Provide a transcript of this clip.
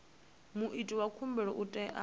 muiti wa khumbelo u tea